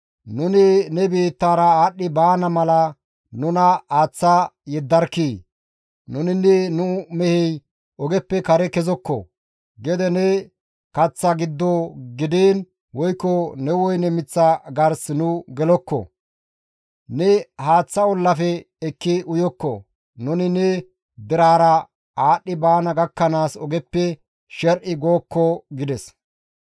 «Nuni ne biittara aadhdhi baana mala nuna aaththa yeddarkkii! Nuninne nu mehey ogeppe kare kezokko; gede ne kaththa giddo gidiin woykko ne woyne miththa gars nu gelokko; ne haaththa ollafe ekki uyokko; nuni ne derera aadhdhi baana gakkanaas ogeppe sher7i gookko» gides.